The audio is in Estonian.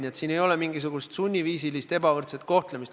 Nii et siin ei ole mingisugust sunniviisilist ebavõrdset kohtlemist.